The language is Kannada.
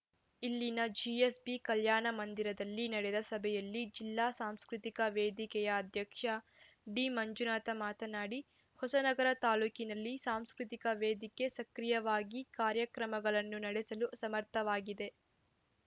ಇಲ್ಲಿನ ಜಿಎಸ್‌ಬಿಕಲ್ಯಾಣ ಮಂದಿರದಲ್ಲಿ ನಡೆದ ಸಭೆಯಲ್ಲಿ ಜಿಲ್ಲಾ ಸಾಂಸ್ಕೃತಿಕ ವೇದಿಕೆಯ ಅಧ್ಯಕ್ಷ ಡಿಮಂಜುನಾಥ ಮಾತನಾಡಿ ಹೊಸನಗರ ತಾಲೂಕಿನಲ್ಲಿ ಸಾಂಸ್ಕೃತಿಕ ವೇದಿಕೆ ಸಕ್ರೀಯವಾಗಿ ಕಾರ್ಯಕ್ರಮಗಳನ್ನು ನಡೆಸಲು ಸಮರ್ಥವಾಗಿದೆ